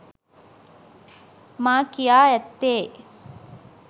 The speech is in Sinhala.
මා කියා ඇත්තේ